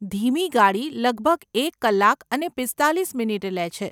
ધીમી ગાડી લગભગ એક કલાક અને પીસ્તાલીસ મિનિટ લે છે.